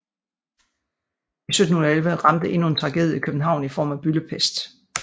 I 1711 ramte endnu en tragedie København i form af byldepest